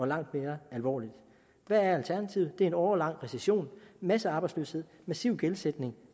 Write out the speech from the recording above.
langt mere alvorligt hvad er alternativet det er en årelang recession massearbejdsløshed massiv gældsætning